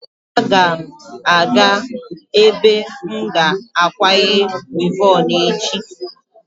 Aga m aga ebe m ga-akwanye wivọn echi.